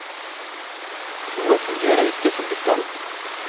Noe fungerer ikke som det skal.